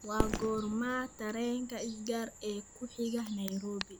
waa goorma tareenka sgr ee ku xiga nairobi